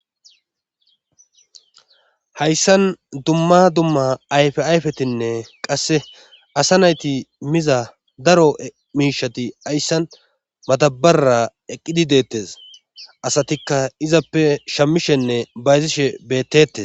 hayssan dumma dumma ayfe ayfetinne qasse asa nayti miza daro miishati hayssan matabarra eqqidi deettes asatikka izappe shammishenne bayzishe bettetes